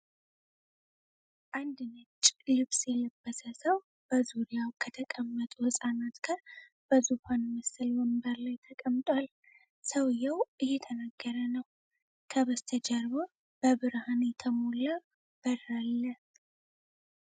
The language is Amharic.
አንድ ነጭ ልብስ የለበሰ ሰው በዙሪያው ከተቀመጡ ህጻናት ጋር በዙፋን መሰል ወንበር ላይ ተቀምጧል። ሰውዬው እየተናገረ ነው። ከበስተጀርባ በብርሃን የተሞላ በር አለ።